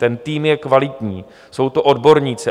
Ten tým je kvalitní, jsou to odborníci.